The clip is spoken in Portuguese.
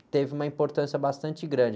que teve uma importância bastante grande.